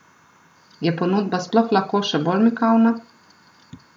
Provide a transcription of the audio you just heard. Je ponudba sploh lahko še bolj mikavna?